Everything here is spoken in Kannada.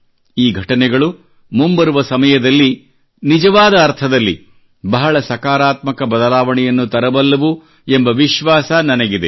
ಈ ಘಟನೆಗಳು ಮುಂಬರುವ ಸಮಯದಲ್ಲಿ ನಿಜವಾದ ಅರ್ಥದಲ್ಲಿ ಬಹಳ ಸಕಾರಾತ್ಮಕ ಬದಲಾವಣೆಯನ್ನು ತರಬಲ್ಲವು ಎಂಬ ವಿಶ್ವಾಸ ನನಗಿದೆ